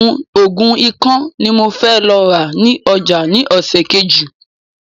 Ògùn ikán ni mo fẹ́ lọ rà ní ọjà ni ọ̀sẹ̀ Kejì